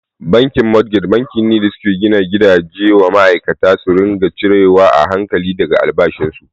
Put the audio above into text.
Bankin motgej banki ne da suke gina gidaje wa ma'aikata sai su ringa cire wa a hankali daga albashin su.